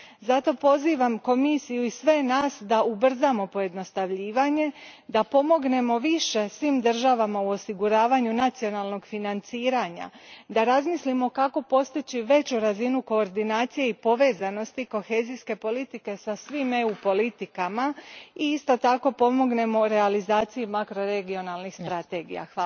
Zato, pozivam Komisiju i sve nas da ubrzamo pojednostavljivanje, da pomognemo više svim državama u osiguravanju nacionalnog financiranja, da razmislimo kako postići veću razinu koordinacije i povezanosti kohezijske politike sa svim EU politikama i isto tako pomognemo realizaciji makroregionalnih strategija.